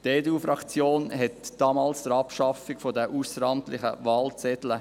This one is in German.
Die EDU-Fraktion unterstütze damals aktiv die Abschaffung der ausseramtlichen Wahlzettel.